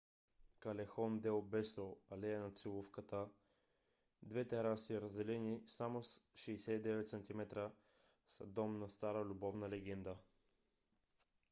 калехон дел бесо алея на целувката. две тераси разделени само с 69 см са дом на стара любовна легенда